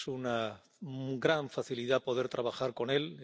Es una gran facilidad poder trabajar con él.